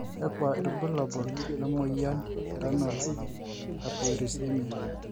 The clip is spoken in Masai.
kakua irbulabo le moyiian e Renal hypouricemia?